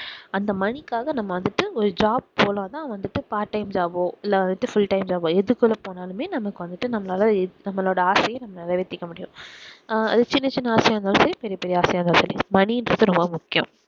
அந்த money காக நம்ம வந்துட்டு ஒரு job போனா தான் வந்துட்டு part time job ஓ இல்ல வந்துட்டு full time job ஓ எதுக்குள்ள போனாலுமே நமக்கு வந்துட்டு நம்மளால நம்மளோட ஆசைய நம்ம நிறைவேத்திக்க முடியும் ஆஹ் சின்ன சின்ன ஆசையா இருந்தாலும் சரி பெரிய பெரிய ஆசையா இருந்தாலும் சரி money ன்றது ரொம்ப முக்கியம்